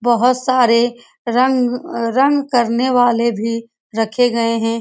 बहुत सारे रंग-रंग करने वाले भी रखे गए हैं।